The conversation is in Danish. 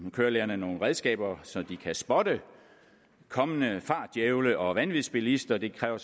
kørelærerne nogle redskaber så de kan spotte kommende fartdjævle og vanvidsbilister det kræver